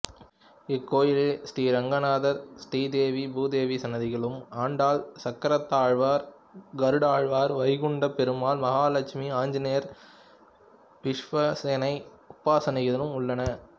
இக்கோயிலில் ரெங்கநாதர் ஸ்ரீதேவி பூதேவி சன்னதிகளும் ஆண்டாள் சக்கரத்தாழ்வார் கருடாழ்வார் வைகுண்ட பெருமாள் மகாலெட்சுமி ஆஞ்சநேயர் விஷ்வசேனை உபசன்னதிகளும் உள்ளன